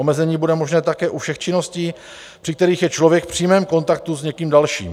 Omezení bude možné také u všech činností, při kterých je člověk v přímém kontaktu s někým dalším.